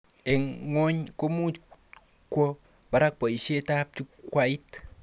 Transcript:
Eng ngwony komuch kwo barak boishetab jukwait